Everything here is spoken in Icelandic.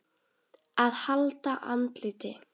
AÐ HALDA ANDLITI